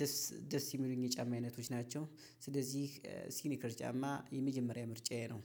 ደስ ደስ ሚሉኝ የጫማ አይነቶች ናቸው። ስለዚህ ሲኒከር ጫማ የመጀመሪያ ምርጫዬ ነው።